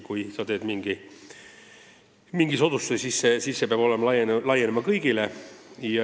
Kui sa teed mingi soodustuse, siis see peab laienema kõigile.